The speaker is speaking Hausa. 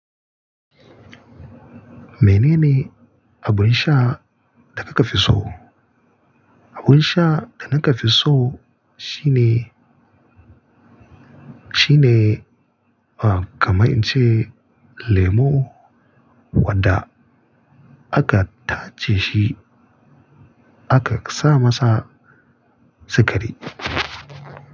Menene abun sha da kaka fi so? Abun sha da naka fi so shine, shine, ah kama in ce lemo wadda aka tace shi aka sa masa sukari.